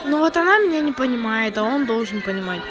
ну вот она меня не понимает а он должен понимать